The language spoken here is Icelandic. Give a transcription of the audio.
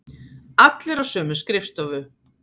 Allir á sömu skrifstofu.